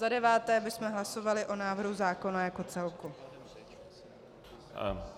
Za deváté bychom hlasovali o návrhu zákona jako celku.